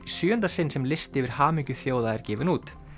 sjöunda sinn sem listi yfir hamingju þjóða er gefinn út